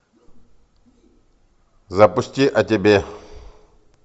запусти о тебе